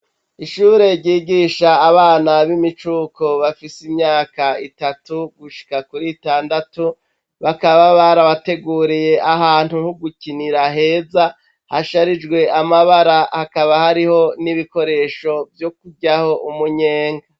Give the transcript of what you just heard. Ishure ryigisha abana b' imicuko bafise myaka itatu gushika kuri itandatu, bakaba barabateguriye ahantu ko gukinira heza, hasharijwe amabara hakaba hariho n' ibikoresho vyo kuryaho umunyenga.